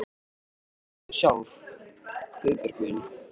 Hvað segir þú sjálf, Guðbjörg mín?